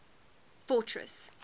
fortress